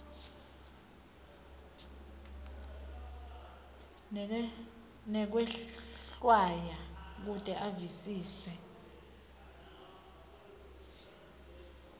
nekwehlwaya kute avisise